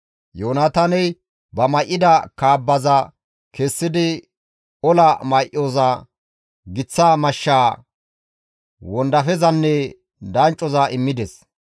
Yoonataaney ba may7ida kaabbaza kessidi ola may7oza, giththa mashshaa, wondafezanne danccoza immides.